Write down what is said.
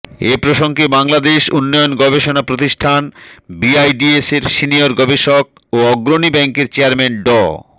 এ প্রসঙ্গে বাংলাদেশ উন্নয়ন গবেষণা প্রতিষ্ঠান বিআইডিএসের সিনিয়র গবেষক ও অগ্রণী ব্যাংকের চেয়ারম্যান ড